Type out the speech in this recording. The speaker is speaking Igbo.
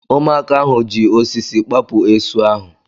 Ụmụaka ahu ji osisi kpapụ esu ahụ